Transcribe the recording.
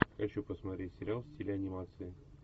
хочу посмотреть сериал в стиле анимации